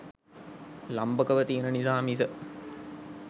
ලම්භකව තියෙන නිසා මිස